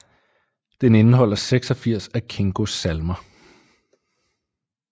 Den indeholder 86 af Kingos salmer